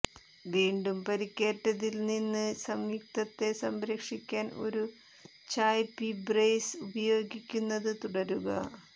വീണ്ടും പരിക്കേറ്റതിൽ നിന്ന് സംയുക്തത്തെ സംരക്ഷിക്കാൻ ഒരു ചായ്പ്പി ബ്രേസ് ഉപയോഗിക്കുന്നത് തുടരുക